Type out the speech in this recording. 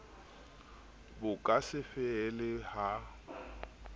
bo ka se fele ha